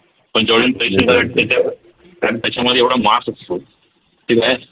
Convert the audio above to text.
पण कारण त्याच्यामध्ये एवढा mass